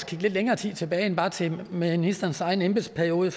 kigge lidt længere tid tilbage end bare til ministerens egen embedsperiode